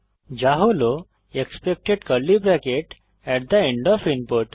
যা হল expected curly bracket at the end of input